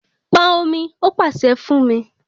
Pọn omi, ó pàṣẹ fún mí